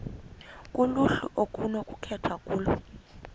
kuluhlu okunokukhethwa kulo